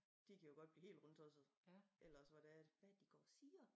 De kan jo godt blive helt rundtosset eller også hvor det er at hvad er det de går og siger